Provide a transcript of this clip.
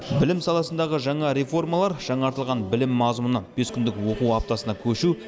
білім саласындағы жаңа реформалар жаңартылған білім мазмұны бес күндік оқу аптасына көшу